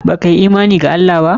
Banyi imani da Allah ba?